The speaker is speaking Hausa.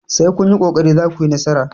sai kun yi ƙoƙari za ku yi nasara!